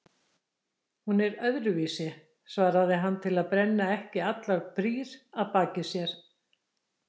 Hún er öðruvísi, svarar hann til að brenna ekki allar brýr að baki sér.